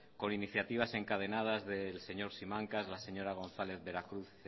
con iniciativas encadenadas del señor simancas de la señora gonzález veracruz